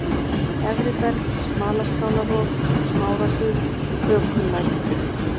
Efriberg, Smalaskálarof, Smárahlíð, Hökullækur